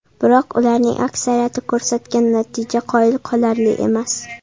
Biroq ularning aksariyati ko‘rsatgan natija qoyil qolarli emas.